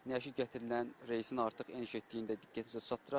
Nəşi gətirilən reysin artıq eniş etdiyini də diqqətinizə çatdıraq.